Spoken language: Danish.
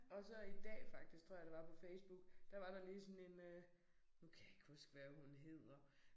Og så i dag faktisk tror jeg det var på Facebook der var der lige sådan en øh nu kan jeg ikke huske hvad hun hedder